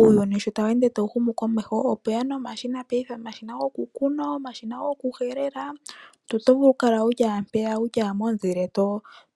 Uuyuni sho tawu ende tawu humu komeho, opwe ya nomashina paife, omashina gokukuna, omashina gokuhelela. Omuntu oto vulu okukala wu li owala mpeya wu li owala momuzile